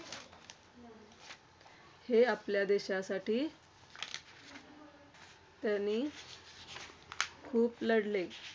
ते आपल्या देशासाठी त्यांनी खूप लढले.